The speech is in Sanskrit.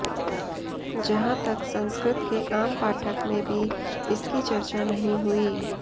जहाँ तक संस्कृत के आम पाठक में भी इसकी चर्चा नहीं हुई